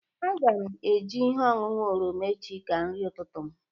Aga m eji ihe ọṅụṅụ oroma echi ka nri ụtụtụ m.